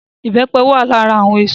Ìbẹ́pẹ wà lára àwọn èso